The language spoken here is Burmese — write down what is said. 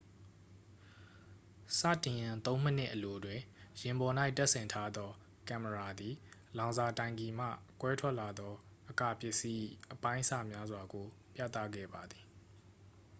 စတင်ရန် 3 မိနစ်အလိုတွင် ယာဉ်ပေါ်၌တပ်ဆင်ထားသောကင်မရာသည် လောင်စာတိုင်ကီမှ ကွဲထွက်လာသော အကာပစ္စည်း၏ အပိုင်းအစများစွာကို ပြသခဲ့ပါသည်